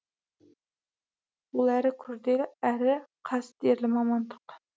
ол әрі күрделі әрі қастерлі мамандық